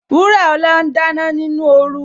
Wuraola ń dáná nínú oru